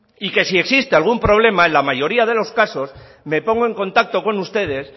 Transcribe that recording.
y que si existe algún problema en la mayoría de los casos me pongo en contacto con ustedes